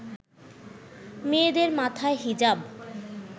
মেয়েদের মাথায় হিজাব